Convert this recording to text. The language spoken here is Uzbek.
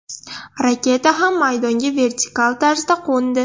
Raketa ham maydonga vertikal tarzda qo‘ndi.